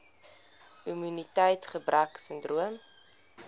immuniteits gebrek sindroom